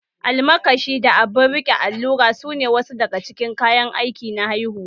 Almakashi, abun riƙe allura, sune wasu daga cikin kayan aiki na haihuwa